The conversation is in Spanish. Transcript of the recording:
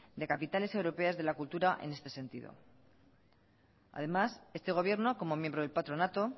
de capitales europeas de la cultura en este sentido además este gobierno como miembro del patronato